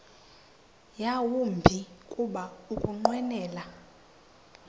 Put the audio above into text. yawumbi kuba ukunqwenela